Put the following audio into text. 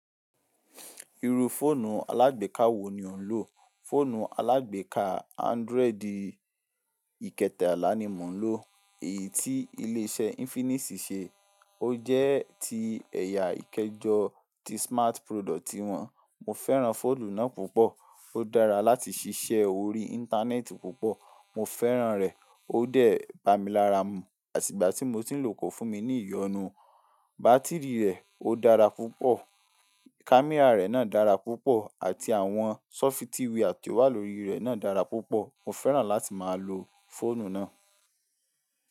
Iru fọ́ọ̀nù alágbèká wo ni o ń lò? Fọ́ọ̀nù alágbèká àndroid ìkẹta àlá ni mò ń lò, èyí tí ilé iṣẹ́ Infinix ṣe. Ó jẹ́ ti ẹ̀yà ìkejọ ti smart product wọn. Mo fẹ́ràn fóònù náà púpọ̀. Ó dára láti ṣiṣẹ́ orí Íńtánẹ́ẹ̀tì púpọ̀. Mo fẹ́ràn rẹ̀. Ó dẹ̀ bà mí lara mú. Àti ìgbà tí mo ti ń lò kí ń fún mi ní ìyọnu. Bátìrì rẹ̀ ó dára púpọ̀. Kámẹ́rà rẹ̀ náà dára púpọ̀ àti àwọn sọ́fítìwìa ti owá lórí rẹ̀ náà dára púpọ̀. Mo fẹ́ràn láti máa lo fọ́ọ̀nù náà.